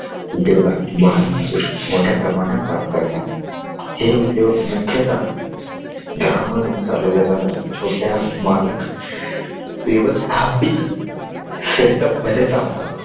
जेवा बालमजूर मोठ्या प्रमाणात काम करतात हे उद्योग मुख्यत घरामधून चालवल्या जाणाऱ्या छोट्या मालक व्यवस्थापित सेटअप setup मध्ये चाल तात